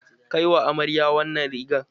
Kai wa amarya wannan rigar!